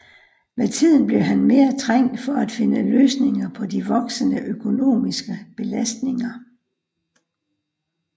Med tiden blev han mere trængt for at finde løsninger på de voksende økonomiske belastninger